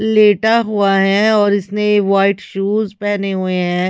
लेटा हुआ है और इसने व्हाइट शूज पहने हुए हैं।